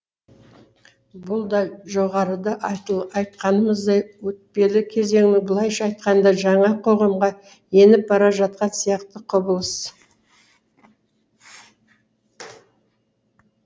бұл да жоғарыда айтқанымыздай өтпелі кезеңнің былайша айтқанда жаңа қоғамға еніп бара жатқан сияқты құбылыс